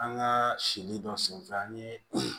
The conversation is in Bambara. An ka sili dɔ senfɛ an ye